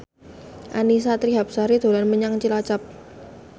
Annisa Trihapsari dolan menyang Cilacap